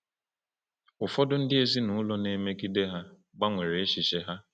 Ụfọdụ ndị ezinụlọ na-emegide ha gbanwere echiche ha.